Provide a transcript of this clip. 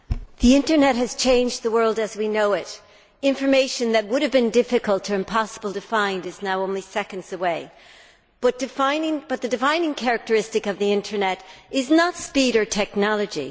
Madam President, the Internet has changed the world as we know it. Information that would have been difficult or impossible to find is now only seconds away, but the defining characteristic of the Internet is not speed or technology